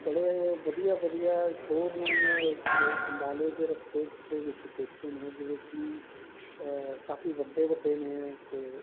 ਬੜੇ ਵਧੀਆ ਵਧੀਆ showroom ਅੰਬਾਲੇ ਦੇ ਰਸਤੇ ਵਿੱਚ ਦੇਖੇ ਨੇ ਜਿਹੜੇ ਕਿ ਅਹ ਕਾਫੀ ਵੱਡੇ ਵੱਡੇ ਨੇ ਤੇ